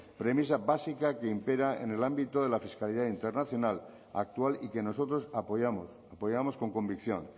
premisa básica que impera en el ámbito de la fiscalidad internacional actual y que nosotros apoyamos apoyamos con convicción